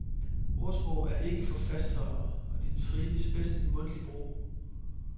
Ordsprog er ikke for fastholdere, og de trives bedst i mundtlig brug.